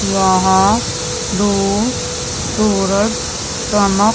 वहां रोज सूरज चमक --